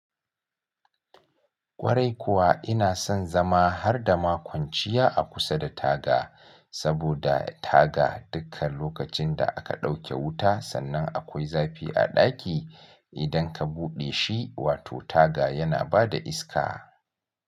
Kwarai kuwa ina son zama har da makwanciya a kusa da taga, saboda taga dukkan lokacin da aka ɗauke wuta sannan akwai zafi a ɗaki idan ka buɗe shi, wato taga yana bada iska.